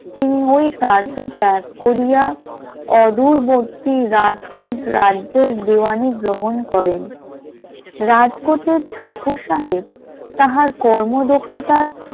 তিনি ওই কার্য ত্যাগ করিয়া অদূরবর্তী রাজকোট রাজ্যে দেওয়ানী গ্রহণ করেন, রাজকোটের ঠাকুর সাহেব তাহার কর্মদক্ষতার